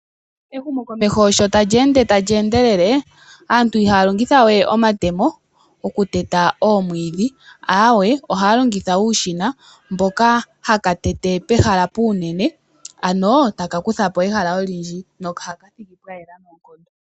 Ehumokomeko sho tali ende tali endelele aantu ihaya longitha we omatemo okuteta oomwiidhi, aawe ohaya longitha uushina mboka hawu tete pehala puunene ano taka kutha po ehala olindji nohaka thigi pwayela noonkondo.